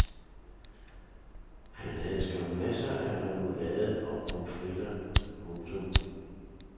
Han havde skam masser af remoulade og pommes fritter. punktum